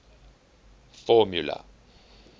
formula